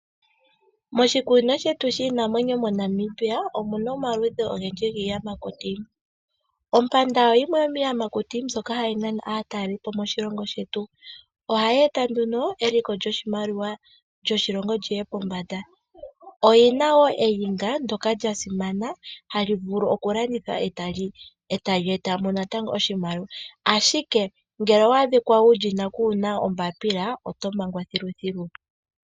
Moshikunino shetu shiinamwenyo moNamibia, omuna omaludhi ogendji giiyamakutu. Ompanda oyo yimwe yomiiyamakuti mbyoka hayi nana aatalelipo moshilongo shetu. Ohayi eta nduno eliko lyoshimaliwa lyoshilongo lyiye pombanda. Oyina wo eyinga ndyoka lyasimana halivulu oku landithwa e tali etamo natango oshimaliwa. Ashike ngele owa adhika wulyina kuna ombapila, oto mangwa thiluthilu.